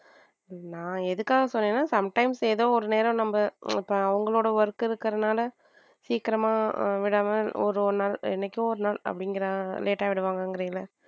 நான் எதுக்காக சொன்னேனா some times ஏதோ ஒரு நேரம் நம்ம அவங்களோட work இருக்கறதுனால சீக்கிரமா விடாம ஒரு ஒரு நாள் எனக்கோ ஒரு நாள் அப்படிங்கிற மாதிரி late ஆ விடுவார்கள்.